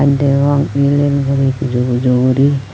yot degong el el guri pujo pujo guri.v